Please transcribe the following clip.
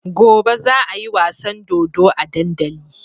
Gobe za ayi wasan dodo a dandali